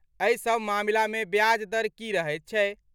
एहिसभ मामिलामे ब्याज दर की रहैत छै?